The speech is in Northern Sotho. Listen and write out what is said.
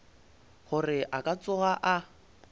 gore a ka tsoga a